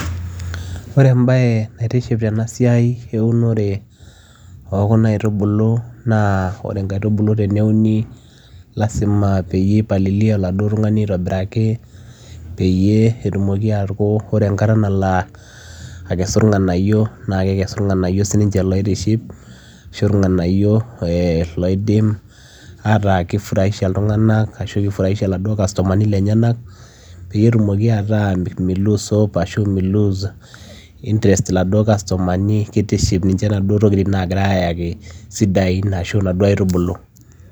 ore embaye naitiship tena siai eunore okuna aitubulu naa ore inkaitubulu teneuni lasima peyie ipalilia oladuo tung'ani aitobiraki peyie etumoki aku ore enkata nalo uh akesu irng'anayio naa kekesu irng'nayio sininche loitiship ashu irng'anayio eh loidim ataa kifuraisha iltung'anak ashu kifuraisha iladuo kastomani lenyenak peyie etumoki ataa mei loose hope ashu mei loose interest iladuo kastomani kitiship ninche inaduo tokitin nagirae ayaki sidai ashu inaduo aitubulu.